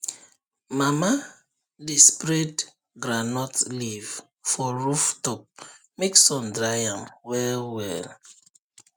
mama dey spread groundnut leaf for roof top make sun dry am well well